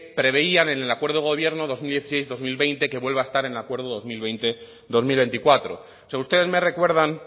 preveían en el acuerdo de gobierno dos mil dieciséis dos mil veinte que vuelve a estar en el acuerdo dos mil veinte dos mil veinticuatro o sea ustedes me recuerdan